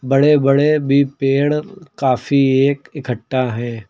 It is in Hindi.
बड़े बड़े भी पेड़ काफी एक इक्कठा है।